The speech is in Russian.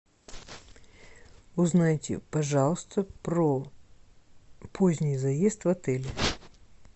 узнайте пожалуйста про поздний заезд в отель